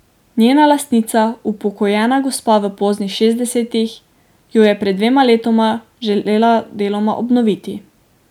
Njena lastnica, upokojena gospa v poznih šestdesetih, jo je pred dvema letoma želela deloma obnoviti.